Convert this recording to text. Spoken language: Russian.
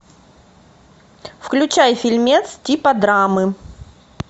включай фильмец типа драмы